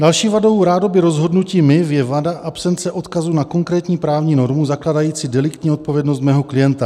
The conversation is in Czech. Další vadou rádoby rozhodnutí MIV je vada absence odkazu na konkrétní právní normu zakládající deliktní odpovědnost mého klienta.